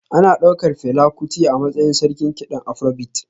Ana ɗaukar Fela Kuti a matsayin sarkin kiɗan Afrobeat